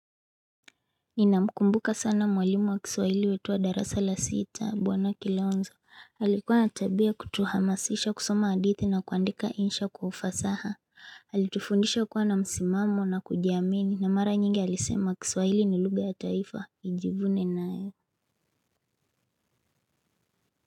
Ninamkumbuka sana mwalimu wa kiswaili wetu wa darasa la sita bwana Kilonzo. Alikuwa na tabia ya kutuhamasisha kusoma hadithi na kuandika insha kwa ufasaha Alitufundisha kuwa na msimamo na kujiamini, na mara nyingi alisema kiswaili ni lugha ya taifa nijivune nayo.